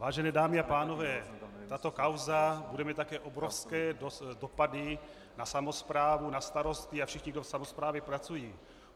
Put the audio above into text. Vážené dámy a pánové, tato kauza bude mít také obrovské dopady na samosprávu, na starosty a všechny, kdo v samosprávě pracují.